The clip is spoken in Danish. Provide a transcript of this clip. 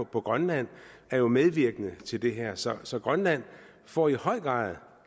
på grønland er jo medvirkende til det her så så grønland får i høj grad